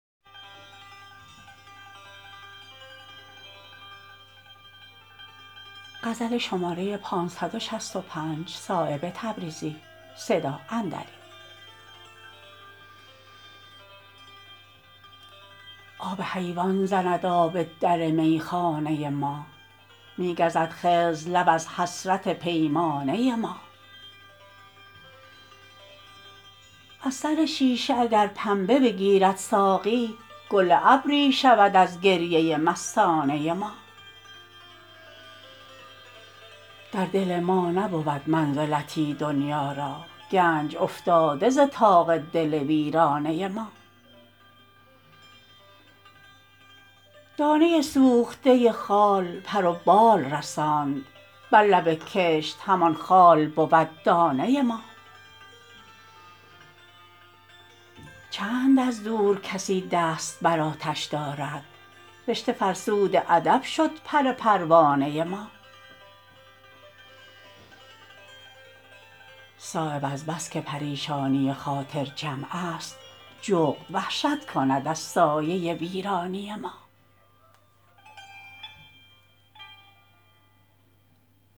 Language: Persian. آب حیوان زند آب در میخانه ما می گزد خضر لب از حسرت پیمانه ما از سر شیشه اگر پنبه بگیرد ساقی گل ابری شود از گریه مستانه ما در دل ما نبود منزلتی دنیا را گنج افتاده ز طاق دل ویرانه ما دانه سوخته خال پر و بال رساند بر لب کشت همان خال بود دانه ما چند از دور کسی دست بر آتش دارد رشته فرسود ادب شد پر پروانه ما صایب از بس که پریشانی خاطر جمع است جغد وحشت کند از سایه ویرانه ما